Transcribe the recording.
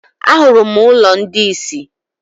Ahụrụ m ụlọ ndị isi.